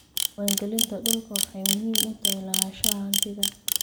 Diiwaangelinta dhulku waxay muhiim u tahay lahaanshaha hantida.